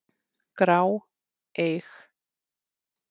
grá, eig.